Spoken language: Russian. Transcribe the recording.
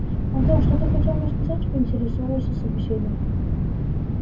антон что ты хотел мне сказать поинтересовался собеседник